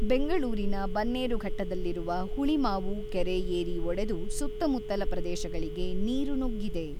ಬೆಂಗಳೂರಿನ ಬನ್ನೇರುಘಟ್ಟದಲ್ಲಿರುವ ಹುಳಿಮಾವು ಕೆರೆ ಏರಿ ಒಡೆದು ಸುತ್ತಮುತ್ತಲ ಪ್ರದೇಶಗಳಿಗೆ ನೀರು ನುಗ್ಗಿದೆ.